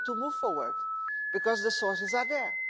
We need to move forward, because the sources are there.